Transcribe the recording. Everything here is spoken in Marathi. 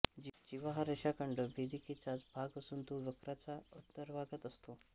जीवा हा रेषाखंड भेदिकेचाच भाग असून तो वक्राच्या अंतर्भागात असतो